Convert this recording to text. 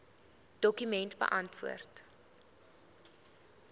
dokument beantwoord